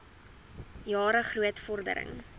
jare groot vordering